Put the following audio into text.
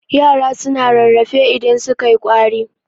yara suna rarrafe idan sukai kwari